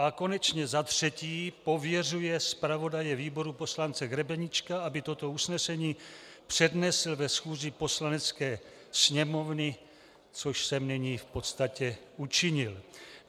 a konečně za třetí pověřuje zpravodaje výboru poslance Grebeníčka, aby toto usnesení přednesl ve schůzi Poslanecké sněmovny, což jsem nyní v podstatě učinil.